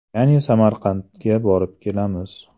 Ya’ni Samarqandga borib kelamiz.